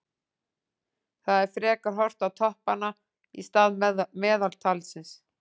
Það er frekar horft á toppanna í stað meðaltalsins.